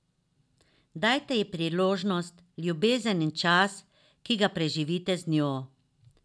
Dajte ji priložnost, ljubezen in čas, ki ga preživite z njo.